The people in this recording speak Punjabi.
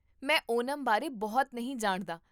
ਮੈਂ ਓਨਮ ਬਾਰੇ ਬਹੁਤਾ ਨਹੀਂ ਜਾਣਦਾ